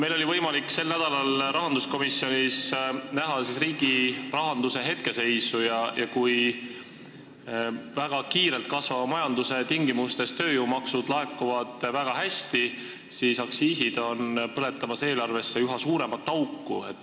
Meil oli võimalik sel nädalal rahanduskomisjonis näha riigi rahanduse hetkeseisu: kui tööjõumaksud laekuvad väga kiirelt kasvava majanduse tingimustes väga hästi, siis aktsiisid põletavad eelarvesse üha suuremat auku.